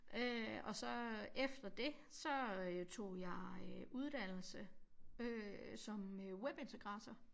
Øh og så efter det så øh tog jeg øh uddannelse øh som webintegrator